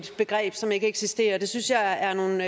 begreb som ikke eksisterer det synes jeg er nogle